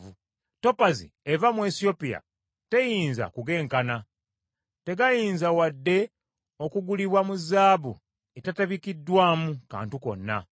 Topazi eva mu Esiyopya teyinza kugenkana, tegayinza wadde okugulibwa mu zaabu etetabikiddwamu kantu konna.